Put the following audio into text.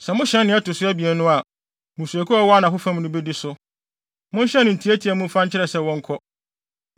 Sɛ mohyɛn nea ɛto so abien no a, mmusuakuw a wɔwɔ anafo fam no bedi so. Monhyɛn no ntiantia mu mfa nkyerɛ sɛ wɔnkɔ.